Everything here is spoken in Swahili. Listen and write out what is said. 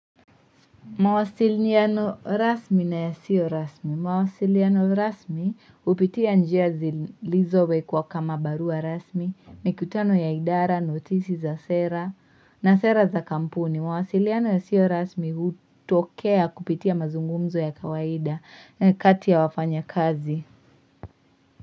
Mawasiliano rasmi na yasio rasmi. Mawasiliano rasmi hupitia njia zilizowekwa kama barua rasmi. Mikutano ya idara, notisi za sera na sera za kampuni. Mawasiliano yasio rasmi hutokea kupitia mazungumzo ya kawaida na kati ya wafanyakazi.